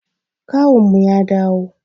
Kawunmu ya dawo.